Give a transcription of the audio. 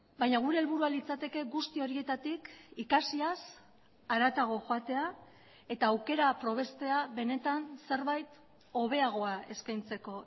baina gure helburua litzateke guzti horietatik ikasiaz haratago joatea eta aukera probestea benetan zerbait hobeagoa eskaintzeko